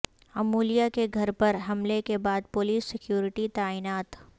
امولیہ کے گھر پر حملے کے بعد پولیس سکیورٹی تعینات